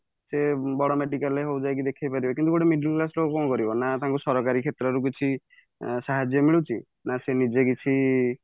ସେ ବଡ medical ରେ ହଉ ଯୋଉ ଦେଖେଇ ପାରିବେ କିନ୍ତୁ ଗୋଟେ middle class ଲୋକ କଣ କରିବ ନା ତାଙ୍କୁ ସରକାରୀ କ୍ଷେତ୍ରରେ କିଛି ସାହାର୍ଯ୍ୟ ମିଳୁଛି ନା ସେ ନିଜେ କିଛି